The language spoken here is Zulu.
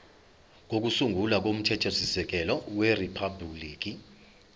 kokusungula komthethosisekelo weriphabhuliki